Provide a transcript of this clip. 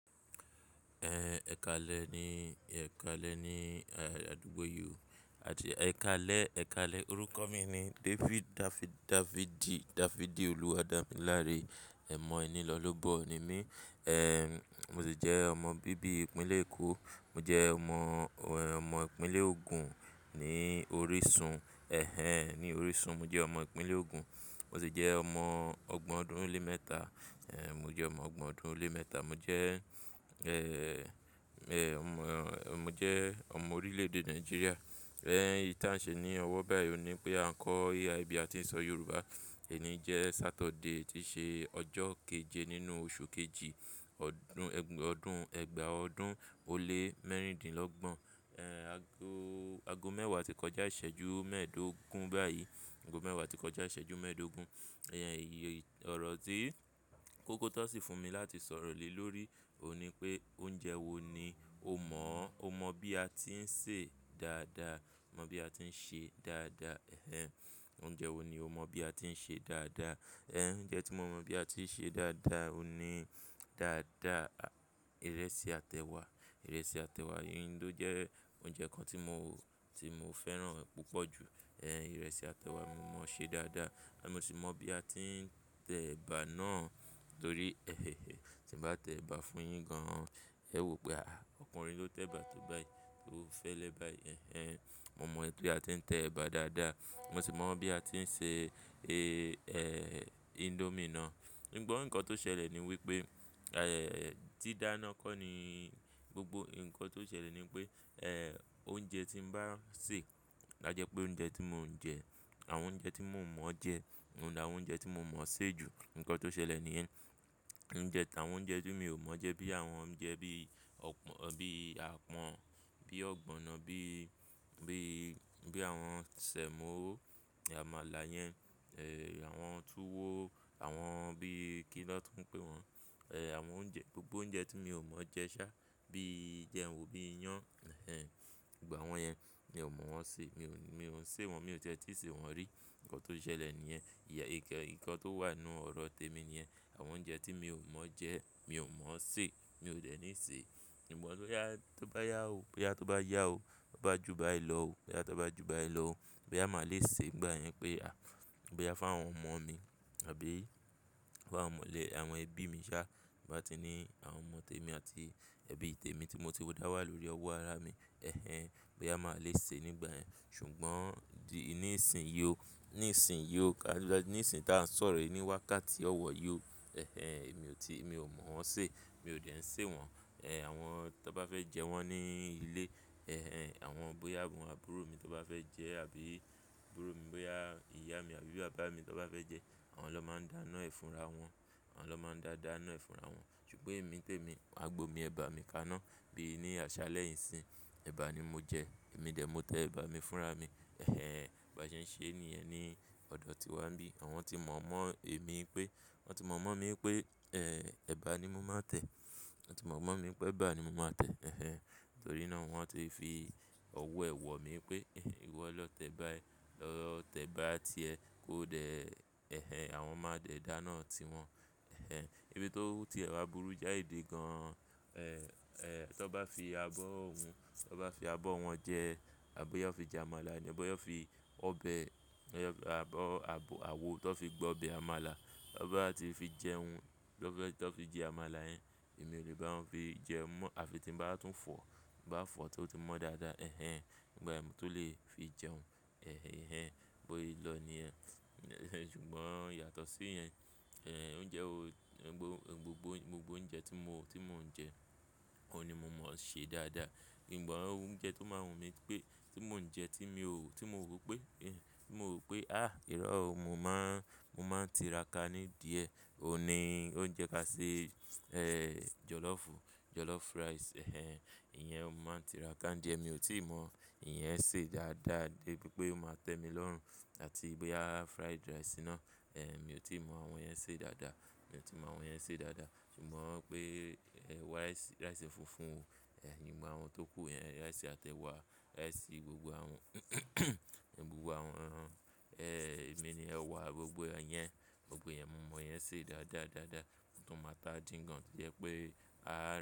Ehn, ẹ̀kaalẹ́ ni, ẹ̀kaalẹ́ ni, eh, àdúgbò yí o àti ẹ̀kaalẹ́, ẹ̀kaalẹ́. Orúkọ mi ni David Dafidi, Dafidi Oluwadamilare. Ẹ̀mọ̀ ẹni lọ́lobọ́ ni mí. Eh, mo sì jẹ́ ọmọ bíbí ìpínlẹ̀ Èkó. Mo jẹ́ ọmọ, ọmọ ìpínlẹ̀ Ogun ní orísun. Eh-hen, ní orísun. Mo jẹ́ ọmọ ìpínlẹ̀. Ogun. Mo sì jẹ́ ọmọ ọgbọ̀n ọdún ó lé mẹ́ta. Eh, mo jẹ́ ọmọ ọgbọ̀n ọdún ó lé mẹ́ta. Mo jẹ́, eh, eh, ọmọ, mo jẹ́ ọmọ orílẹ̀ èdè Nàìjíríà. Eh, ìta ṣe ní ọwọ́ báyìí ó ní pé à ń kọ́ AI bi àti ń sọ Yorùbá. Èní jẹ́ Saturday tí ṣe ọjọ́ keje nínú oṣù kejì, ọdún, ọdún ẹgba ọdún ó lé mẹ́rìndínlọ́gbọ̀n. Eh, ago, ago mẹ́wàá tí kọjá ìṣẹ́jú mẹ́ẹ̀ẹ́dógún báyìí. Ago mẹ́wàá tí kọjá ìṣẹ́jú mẹ́ẹ̀ẹ́dógún. Eh-hen, ọrọ̀ tí kókó tan sì fún mi láti sọ̀rọ̀ lè lórí òní pé oúnjẹ wo ni o mọ̀, o mọ̀ bí a tí ń sè dáadáa. Mọ bí a tí ń ṣe dáadáa. Eh-hen. Oúnjẹ wo ni o mọ̀ bí a tí ń ṣe dáadáa. Eh, oúnjẹ tí mo mọ̀ bí a tí ń ṣe dáadáa òní dáadáa, ìrẹsì àtẹ wa. Ìrẹsì àtẹ wa yì ni ó jẹ́ oúnjẹ kan tí mo, tí mo fẹ́ràn púpọ̀ jù. Eh, ìrẹsì àtẹ wà mo mọ̀ ṣe dáadáa àti mo sì mọ̀ bí a tí ń tẹ ẹ̀bà náà torí, eh-he-he, tí ń bá tẹ ẹ̀bà fún yin gan, ẹ ó wí pé "à, ọkùnrin ló tẹ ẹ̀bà tó bá yí, tó fẹ́lẹ́ báyìí." Eh-hen. Mo mọ̀ pé a tí ń tẹ ẹ̀bà dáadáa. Mo sì mọ̀ bí a tí ń ṣe, eh, eh, indomie náà. Ǹgbọ́n nǹkan tó ṣẹlẹ̀ ni wípé, eh, tí dáná kó ni gbogbo ǹkan tó ṣẹlẹ̀ ni wípé, eh, oúnjẹ tí ń bá sè lájẹ pé oúnjẹ tí mò ń jẹ, àwọn oúnjẹ tí mò ń mọ̀ jẹ òun nì àwọn oúnjẹ tí mo mọ̀ sè ju. Ǹkan tó ṣẹlẹ̀ ni yẹn. Oúnjẹ, àwọn oúnjẹ tí mi ò mọ̀ jẹ bí àwọn oúnjẹ bí ọ̀pọ̀, bí apọn, bí ogbono, bí, bí, bí àwọn sẹ̀mọ́, àmàlà yẹn, eh, àwọn tùwó, àwọn bí kí lọ́ tún ń pè wọ́n. Eh, àwọn oúnjẹ, gbogbo oúnjẹ tí mi ò mọ̀ jẹ sá bí i jẹun wo bí i iyán. Eh-hen. Ìgbà wọ́n yẹn mi ò mọ̀ wọ́n ṣe. Mi ò, mi ò ń ṣe wọn, mi ò tiẹ́ tíì ṣe wọn rí. Ǹkan tó ṣẹlẹ̀ ni yẹn. Ìyà ìkẹ, ǹkan tó wà nínú ọ̀rọ̀ tèmi ni yẹn. Àwọn oúnjẹ tí mi ò mọ̀ jẹ, mi ò mọ̀ ṣe, mi ò dẹ̀ ní ṣe. Ǹgbọ́n tó bá yá ò, pé a tó bá yá ò, ba bá ju báyìí lọ ò, pé a tó bá ju báyìí lọ ò, pé a máa le ṣe nígbà yẹn pé a, bóyá fún àwọn ọmọ mi àbí fún àwọn ọmọ ilé, àwọn ẹbí mi sá bá ti ní àwọn ọmọ tèmi àti ẹbí tèmi tí mo ti dà wà lórí ọwọ́ ara mi. Eh-hen. Bóyá a máa lè ṣe nígbà yẹn. Ṣùgbọ́n ní ìsìn yió, ní ìsìn yió, ní ìsìn tá ń sọ̀rọ̀ yìí ní wákàtí ọwọ̀ yó. Eh-hen. Mi ò tí, mi ò mọ̀ wọ́n ṣe. Mi ò dẹ̀ ń ṣe wọn. Eh, àwọn tó bá fẹ́ jẹ wọ́n ní ilé. Eh-hen. Àwọn bóyá àwọn àbúrò mi tó bá fẹ́ jẹ àbí àbúrò mi bóyá ìyá mi àbí bàbá mi tó bá fẹ́ jẹ, àwọn ló máa ń dáná ẹ fúnra wọn. Àwọn ló máa ń da dáná ẹ fúnra wọn. Ṣùgbọ́n èmi tèmi, màgbo mi, ẹ̀bà mi kaná bíi ní àṣà lẹ́yì n ìsìn. Ẹ̀bà ni mo jẹ, èmi dè mó tẹ ẹ̀bà mi fúnra mi. Eh-hen. Bàjẹ́ ń ṣe ni ẹ ní ọ̀dọ̀ tiwa bí. Àwọn tí mọ̀ mọ́ èmi pé, wọn ti mọ̀ mọ́ mi pé, eh, ẹ̀bà ni mo máa ń tẹ. Wọn ti mọ̀ mọ́ mi pé ẹ̀bà ni mo máa tẹ. Eh-hen. Nítorí náà wọ́n ti fi ọwọ́ ẹ̀ wọ̀ mí pé, "ìwọ lọ tẹ bá yí, lọ tẹ ẹ̀bà tìẹ kó dẹ̀". Eh-hen. Àwọn máa dẹ̀ dáná ti wọn. Eh-hen. Ibi i tó ti ẹ̀wá burú jái de gan. Eh, eh, tan bá fi abọ́ hun, tan bá fi abọ́ wọn jẹ àbí yá fi jẹ àmàlà ni, bóyá fi ọbẹ̀, abọ́, abọ, àwo tó fi gbọ̀ ọbẹ̀ àmàlà, tó bá ti fi jẹ hun, tan fẹ́, tan fi jẹ àmàlà yẹn, èmi ò lè bá wọn fi jẹ mọ́ àfi tí ń bá tún fọ̀, bá fọ̀ tó ti mọ́ dáadáa. Eh-hen. Ǹgbà ẹ mó tó lè fi jẹun. Eh-hen. Boe lọ ní ẹ. Ṣùgbọ́n yàtọ̀ sí yẹn, eh, oúnjẹ wo, gbogbo, gbogbo oúnjẹ tí mo, tí mò ń jẹ, òun ni mo mọ̀ ṣe dáadáa. Ǹgbọ́n oúnjẹ tó máa ń wù mí pé, tí mò ń jẹ tí mi ò, tí mo rò pé, eh, tí mo rò pé, "à, ìró òun mo máa ń, mo máa ń tira ka ní díẹ̀" òun ni oúnjẹ ká ṣe, eh, jọlọ́fù, jọlọ́fù rice. Eh-hen. Ìyẹn mo máa ń tira ka ní díẹ̀. Èmi ò tí ì mọ ìyẹn ṣe dáadáa dé bí pé mo máa tẹ́mi lọ́rùn àti bóyá fried rice náà. Eh, èmi ò tí ì mọ àwọn yẹn ṣe dáadáa. Èmi ò tí ì mọ àwọn yẹn ṣe dáadáa. Ṣùgbọ́n pé rice, rice funfun, eh, gbogbo àwọn tó kù yẹn, rice àtẹ wa, rice gbogbo àwọn, gbogbo àwọn, eh, èmi ni ẹwà gbogbo yẹn, gbogbo yẹn mo mọ̀ yẹn ṣe dáadáa, dáadáa. Motun máa ata din gan tó jẹ́ pé, a.